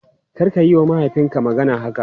Karka yiwa mahaifinka magana haka!